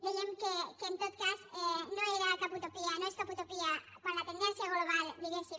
dèiem que en tot cas no era cap utopia no és cap utopia quan la tendència global diguéssim